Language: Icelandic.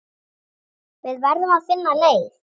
Við verðum að finna leið.